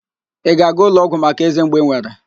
Ị ga-aga ụlọọgwụ maka eze mgbu ị nwere?